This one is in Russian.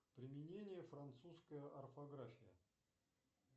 применение французская орфография